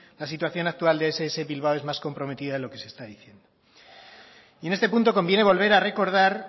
la situación actual de ess bilbao es más comprometida de lo que se está diciendo y en este punto conviene volver a recordar